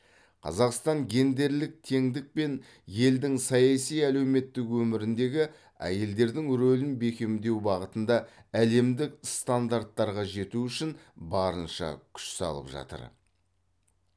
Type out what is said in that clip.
қазақстан гендерлік теңдік пен елдің саяси әлеуметтік өміріндегі әйелдердің рөлін бекемдеу бағытында әлемдік стандарттарға жету үшін барынша күш салып жатыр